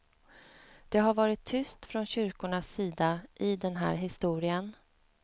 Det har varit tyst från kyrkornas sida i den här historien.